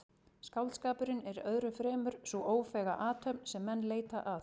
Skáldskapurinn er öðru fremur sú ófeiga athöfn sem menn leita að.